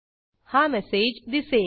हा मेसेज दिसेल